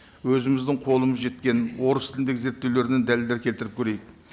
өзіміздің қолымыз жеткен орыс тіліндегі зерттеулерден дәлелдер келтіріп көрейік